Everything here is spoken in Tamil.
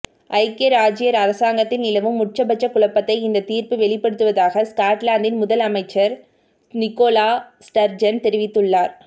ஐக்கிய இராஜ்ஜிய அரசாங்கத்தில் நிலவும் உச்சபட்ச குழப்பத்தை இந்தத் தீர்ப்பு வெளிப்படுத்துவதாக ஸ்காட்லாந்தின் முதல் அமைச்சர் நிகோலா ஸ்டர்ஜன் தெரிவித்துள்ளார்